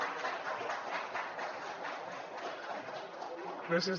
gràcies